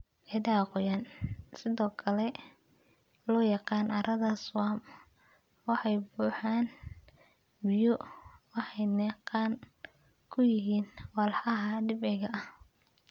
Ciidaha qoyan, sidoo kale loo yaqaan carrada swamp, waxay ka buuxaan biyo waxayna qani ku yihiin walxaha dabiiciga ah.